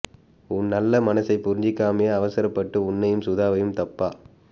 உன் நல்ல மனசைப் புரிஞ்சிக்காமே அவசரப்பட்டு உன்னையும் சுதாவையும் தப்பா